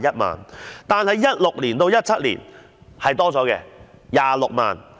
2016-2017 年度增加至26萬元。